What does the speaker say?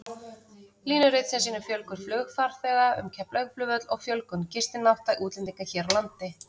Línurit sem sýnir fjölgun flugfarþega um Keflavíkurflugvöll og fjölgun gistinátta útlendinga hér á landi.